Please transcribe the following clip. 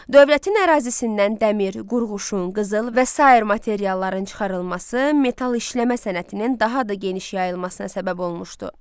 Dövlətin ərazisindən dəmir, qurğuşun, qızıl və sair materialların çıxarılması metal işləmə sənətinin daha da geniş yayılmasına səbəb olmuşdu.